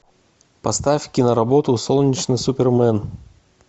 поставь ктноработу солнечный супермен